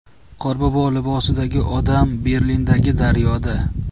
Qorbobo libosidagi odam Berlindagi daryoda.